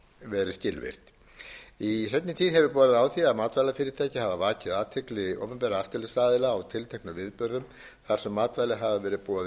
verið skilvirkt í seinni tíð hefur borið á því að matvælafyrirtæki hafi vakið athygli opinberra eftirlitsaðila á tilteknum viðburðum þar sem matvæli hafa verið boðin